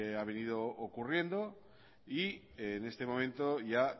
ha venido ocurriendo y en este momento ya